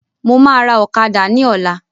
Mo máa ra ọ̀kadà ni ọ̀la